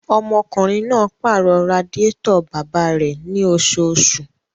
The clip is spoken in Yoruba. Ọmọkùnrin máa pàrọ̀ radiátọ̀ bàbá rẹ̀ ní oṣooṣù.